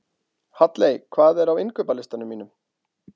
Halley, hvað er á innkaupalistanum mínum?